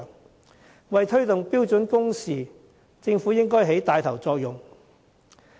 政府應為推動標準工時，發揮帶頭作用。